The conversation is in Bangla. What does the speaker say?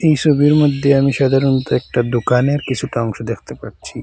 এই সোবির মধ্যে আমি সাধারণত একটা দোকানের কিছুটা অংশ দেখতে পরছি।